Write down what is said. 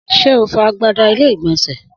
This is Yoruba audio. Sé o fọ agbada ilé ìgbònsè?